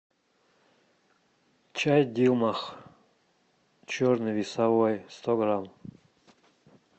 чай дилмах черный весовой сто грамм